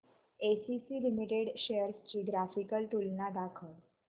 ACC limited shares ची graphical तुलना दाखव